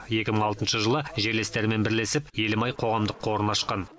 екі мың алтыншы жылы жерлестерімен бірлесіп елім ай қоғамдық қорын ашқан